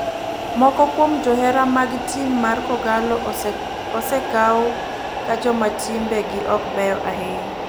Moko kuom johera mag tim mar kogallo osekaw ka joma timbe gi ok beyo ahinya.